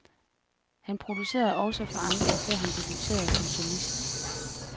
Han producerede også for andre, før han debuterede som solist.